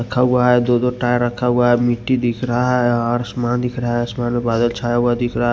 रखा हुआ है दो दो टायर रखा हुआ है मिट्टी दिख रहा है आसमान दिख रहा है आसमान मे बादल छाया हुआ दिख रहा है।